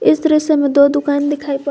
इस दृश्य में दो दुकान दिखाई पड़--